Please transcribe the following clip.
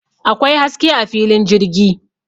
Akwai haske a filin jirgi